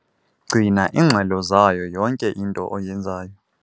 Gcina iingxelo zayo yonke into oyenzayo.